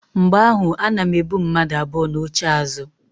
Mgbe ahụ ana m ebu mmadu abụọ n'oche azụ.